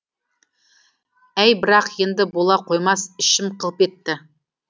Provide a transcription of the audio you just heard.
әй бірақ енді бола қоймас ішім қылп етті